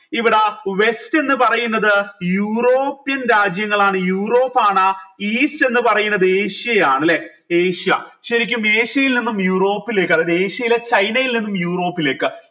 ഇവിടെ west എന്ന് പറയുന്നത് യൂറോപ്യൻ രാജ്യങ്ങളാണ് യൂറോപ്പാണ് ഈസ്റ്റ് എന്ന് പറയുന്നത് ഏഷ്യയാണ് ല്ലെ ഏഷ്യ ശരിക്കും ഏഷ്യയിൽ നിന്ന് യൂറോപ്പിലേക്ക് അതായത് ഏഷ്യയിലെ ചൈനയിൽ നിന്നും യൂറോപ്പിലേക്ക്